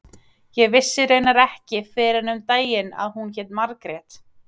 Ég vissi raunar ekki fyrr en um daginn að hún héti Margrét.